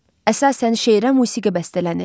Əsasən şeirə musiqi bəstələnir.